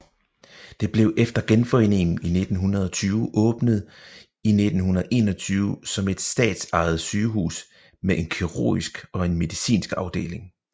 Det blev efter Genforeningen i 1920 åbnet i 1921 som et statsejet sygehus med en kirurgisk og en medicinsk afdeling